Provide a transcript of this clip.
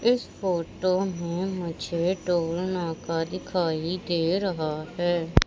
इस फोटो में मुझे टोल नाका दिखाई दे रहा है।